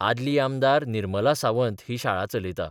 आदली आमदार निर्मला सावंत ही शाळा चलयता.